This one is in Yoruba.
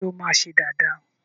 ṣe o ma ṣe Dàda?